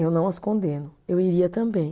Eu não as condeno, eu iria também.